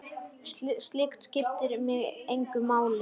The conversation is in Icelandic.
Slíkt skiptir mig engu máli.